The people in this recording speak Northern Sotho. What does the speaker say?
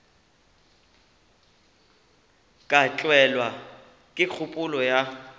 ka tlelwa ke kgopolo ya